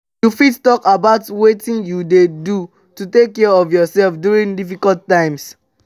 you fit talk about wetin you dey do to take care of yourself during difficult times?